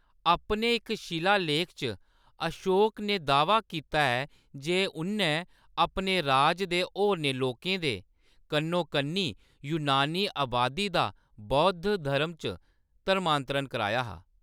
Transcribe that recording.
अपने इक शिलालेख च, अशोक ने दाह्‌वा कीता ऐ जे उʼन्नै अपने राज दे होरनें लोकें दे कन्नोकन्नी यूनानी अबादी दा बौद्ध धर्म च धर्मांतरण कराया हा।